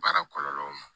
Baara kɔlɔlɔw ma